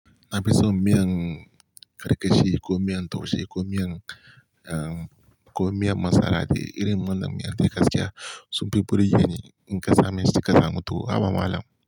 Na fi son miyan karkashi ko miyan taushe ko miyan, eh, ko miyan masara da irin wannan miya dai gaskiya. Sun fi burgeni in kasa mai cika samu to, haba malam.